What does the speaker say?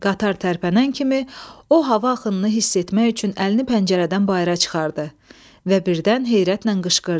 Qatar tərpənən kimi o hava axınını hiss etmək üçün əlini pəncərədən bayıra çıxardı və birdən heyrətlə qışqırdı.